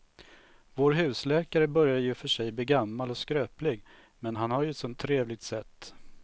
Vår husläkare börjar i och för sig bli gammal och skröplig, men han har ju ett sådant trevligt sätt!